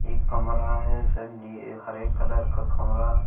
एक कमरा है सनी ये हरे कलर का कमरा--